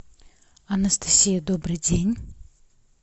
анастасия добрый день